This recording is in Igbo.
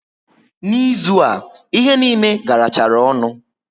Na ịzụ a, ihe niile garachara ọnụ